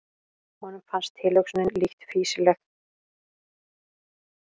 Honum fannst tilhugsunin lítt fýsileg.